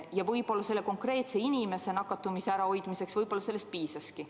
Ja võib-olla konkreetse inimese nakatumise ärahoidmiseks sellest piisabki.